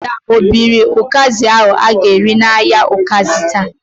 Ada o biri ụkazi ahu a ga-ere n"ahia ukazi taa?